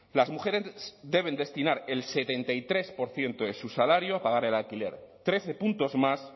las mujeres deben destinar el setenta y tres por ciento de su salario a pagar el alquiler trece puntos más